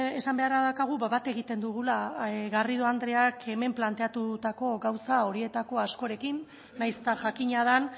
esan beharra daukagu bat egiten dugula garrido andreak hemen planteatutako gauza horietako askorekin nahiz eta jakina den